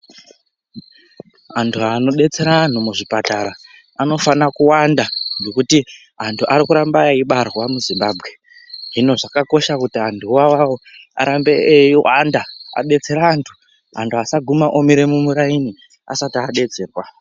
Antu anodetsera anhu muzvipatara, anofana kuwanda nekuti antu ari kuramba eibarwa muZimbabwe, Hino zvakakosha kuti antu iwawawo arambe eiwanda abetsere antu, antu asagumema omire mumuraini asati adetserwa.